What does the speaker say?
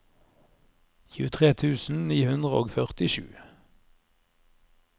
tjuetre tusen ni hundre og førtisju